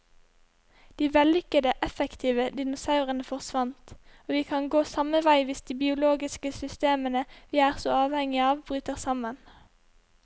De vellykkede, effektive dinosaurene forsvant, og vi kan gå samme vei hvis de biologiske systemene vi er så avhengige av bryter sammen.